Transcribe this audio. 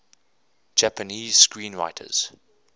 japanese screenwriters